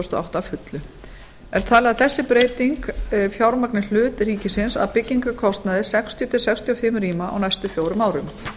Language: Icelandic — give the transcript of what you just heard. þúsund og átta að fullu er talið að þessi breyting fjármagni hlut ríkisins af byggingarkostnaði sextíu til sextíu og fimm rýma á næstu fjórum árum